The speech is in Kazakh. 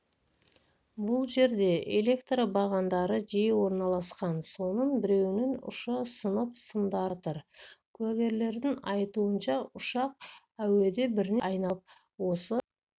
бұл жерде электр бағандары жиі орналасқан соның біреуінің ұшы сынып сымдары үзіліп жатыр куәгерлердің айтуынша ұшақ әуеде бірнеше рет айналып осы